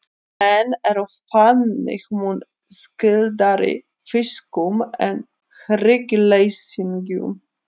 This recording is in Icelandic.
menn eru þannig mun skyldari fiskum en hryggleysingjum